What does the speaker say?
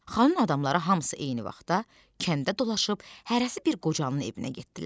Xanın adamları hamısı eyni vaxtda kəndə dolaşıb hərəsi bir qocanın evinə getdilər.